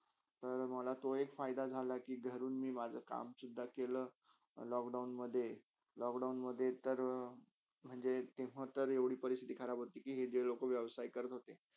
तर मला तो एक फायदा झाला कि घरून मी माझा काम सुदधा केला लॉकडाउनमधे लॉकडाउनमधे तर म्हणजे एक टायमत्र एवडी परिसतिथी खराब होती कि जे लोका व्यवसही करत होते